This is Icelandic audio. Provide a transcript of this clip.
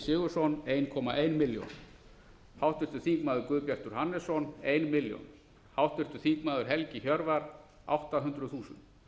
sigurðsson einn komma eina milljón háttvirtir þingmenn guðbjartur hannesson ein milljón háttvirtur þingmaður helgi hjörvar átta hundruð þúsund